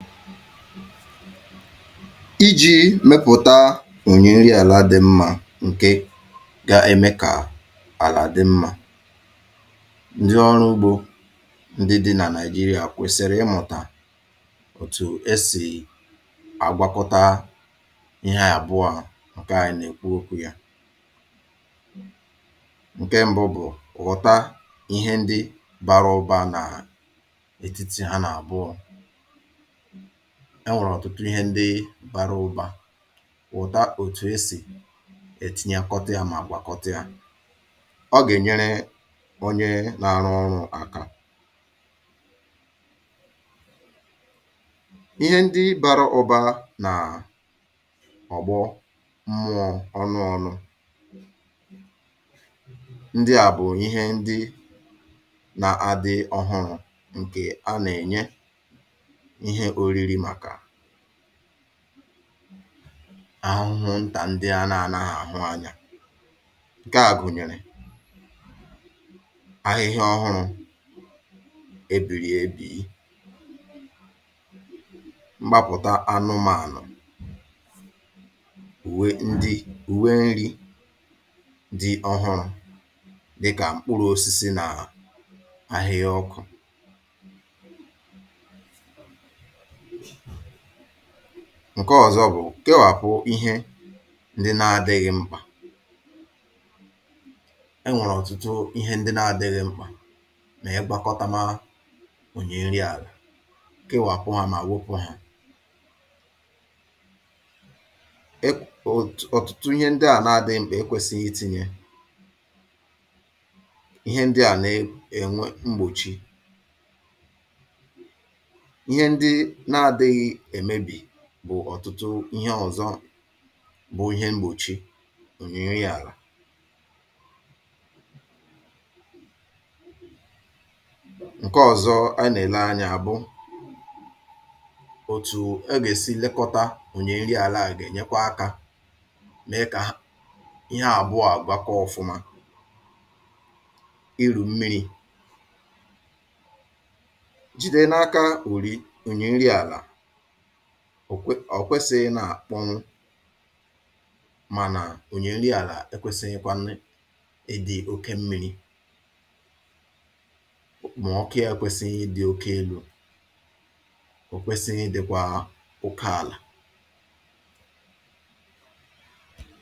Ịji̇ mepụ̀ta ònyi nri àla dị̇ mmȧ ǹkè ga-eme kà àlà dị̇ mmȧ, ndị ọrụ ugbȯ ndị dị̇ nà nigeria kwèsìrì ịmụ̀tà òtù e sì um àgwakọta ihe àbụọ à ǹke à nà-èkwu okwu̇ yȧ. Nke ṁbụ̇ bụ̀ ghọ̀ta ihe ndị bara ụbȧ nà ètitì ha nà àbụọ̇. Enwèrè ọ̀tụtụ ihe ndị bara ụbȧ wụ̀ta òtù e sì è tinyakọta ya mà gbàkọta ya ọ gà-ènyere onye na-arụ ọrụ̇ aka. Ihe ndị bara ụ̀ba nà[um]ọ̀gbọ mmụọ̇ ọnụ ọnụ̇. Ndị à bụ̀ ihe ndị nà-àdị ọhụrụ̇ ǹkè a nà-ènye ihe oriri maka ahụhụ ntà ndị a nȧ anaghị àhụ anya. Nke à gụ̀nyèrè ahihia ọ̀hụrụ̇ ebirì ebì, mkpapụ̀ta anụmȧnụ̀, uwe ndị, uwe nri dị ọhụrụ̇ dịkà mkpụrụ̇ osisi nà ahihia ọkụ̇. Nke ọzọ̇ bụ̀ kewàpụ̀ ihe ndị na-adịghị̇ mkpà. E nwèrè ọ̀tụtụ ihe ndị na-adịghị̇ mkpà nà-igwakọtamȧ onyi nri àlà kewàpụ̇ ha mà wopù hȧ. E um òt um ọ̀tụtụ ihe ndị à na-adịghị̇ mkpà e kwèsìghi tinye ihe ndị à na-enwe mgbòchi. Ihe ndị na adịghị emebi bụ̀ ọ̀tụtụ ihe ọ̀zọ bụ ihe mgbòchi ònyi nri àlà. Nke ọzọ ana ele anya bu otu a ga-esi lekota onyi nri ala a ga enyekwa aka mee ka ihe abụọ a gwakọọ ofuma. Ịrụ mmiri jide n'aka unyi onyi nri ala, ọ kwesị̀ghi nà-àkpọnụ mànà ònyi nri àlà e kwesịghíkwá nnị́ ị̀dị̇ oke mmiri̇ ma ọku yȧ kwesịghi idị̇ oke elu o kwesịghị dị̇kwà oke àlà.